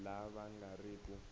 lava va nga ri ku